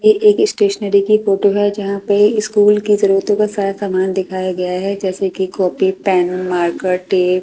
ये एक स्टेशनरी की फोटो है जहां पे स्कूल की जरूरतों का सारा सामान दिखाया गया है जैसे कि कॉपी पेन मार्कर टेप --